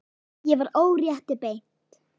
Ég var órétti beitt.